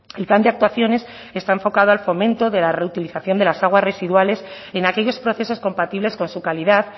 el plan de actuaciones está enfocado al fomento de la reutilización de las aguas residuales en aquellos procesos compatibles con su calidad